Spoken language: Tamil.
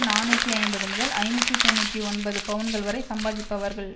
நாநூற்றி ஐம்பது முதல் ஐநூற்றி தொன்னூற்றி ஒன்பது பவுன்கள் வரை சம்பாதிப்பவர்கள்